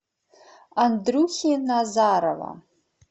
андрюхи назарова